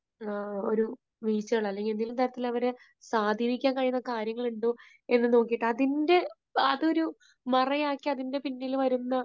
വീഴ്ചകൾ അല്ലെങ്കിൽ എന്തെങ്കിലും തരത്തിൽ അവരെ സ്വാധീനിക്കാൻ കഴിയുന്ന കാര്യങ്ങൾ ഉണ്ടോ എന്ന് നോക്കിയിട്ട് അതിൻറെ, അത് ഒരു മറയാക്കി അതിന്റെ പിന്നിൽ വരുന്ന